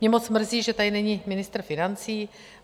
Mě moc mrzí, že tady není ministr financí.